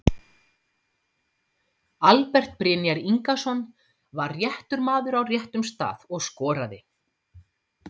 Albert Brynjar Ingason var réttur maður á réttum stað og skoraði.